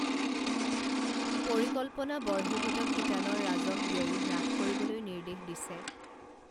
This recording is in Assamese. পৰিকল্পনা বৰ্হিভূত শিতানৰ ৰাজহ ব্যয়ো হ্ৰাস কৰিবলৈ নিৰ্দেশ দিছে